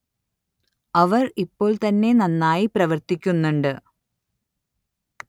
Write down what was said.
അവര്‍ ഇപ്പോള്‍ തന്നെ നന്നായി പ്രവര്‍ത്തിക്കുന്നുണ്ട്